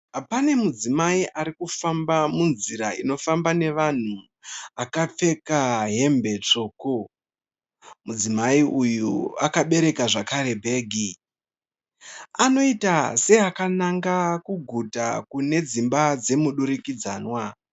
Pane mudzimai ari kufamba munzira inofamba nevanhu akapfeka hembe tsvuku. Mudzimai uyu akabereka zvakare bhegi. Anoita seakananga kuguta kune dzimba dzemudurikidzanwa.